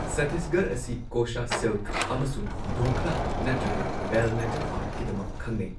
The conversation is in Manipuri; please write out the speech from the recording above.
ꯁꯠꯇꯤꯁꯒꯔ ꯑꯁꯤ ꯀꯣꯁꯥ ꯁꯤꯜꯛ ꯑꯃꯁꯨꯡ ꯙꯣꯀ꯭ꯔꯥ ꯅꯠꯇ꯭ꯔꯒ ꯕꯦꯜ ꯃꯦꯇꯜ ꯑꯥꯔꯠ ꯀꯤꯗꯃꯛ ꯈꯪꯅꯩ꯫